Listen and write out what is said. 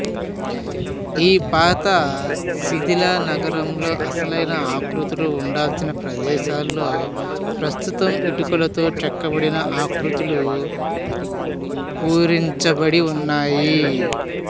ఈ పాత శిథిల నగరంలో అసలైన ఆకృతులు ఉండాల్సిన ప్రదేశాలలో ప్రస్తుతం ఇటుకలతో చెక్కబడిన ఆకృతులు పూరించబడి ఉన్నాయి